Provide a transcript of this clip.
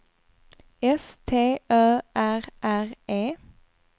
S T Ö R R E